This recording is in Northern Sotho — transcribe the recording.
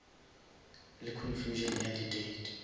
le confusion ya di date